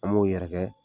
An b'o yɛrɛ kɛ